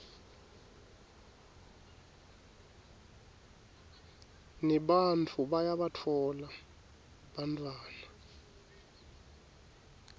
nebantfu bayabatfola bantfwana